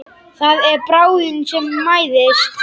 Það er bráðin sem mæðist.